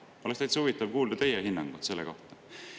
Oleks täitsa huvitav kuulda teie hinnangut selle kohta.